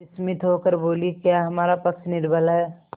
विस्मित होकर बोलीक्या हमारा पक्ष निर्बल है